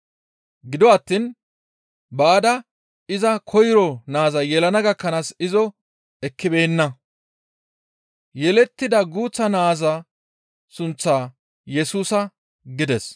Gido attiin baada iza koyro naaza yelana gakkanaas izo ekkibeenna. Yelettida guuththa naaza sunththaa, «Yesusa» gides.